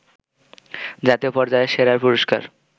জাতীয় পর্যায়ের সেরার পুরস্কার